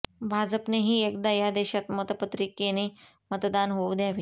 भाजपनेही एकदा या देशात मतपत्रिकेने मतदान होऊ द्यावे